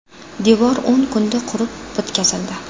Devor o‘n kunda qurib bitkazildi.